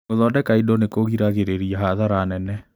Gũthondeka indo nĩkũgiragĩrĩria hathara nene.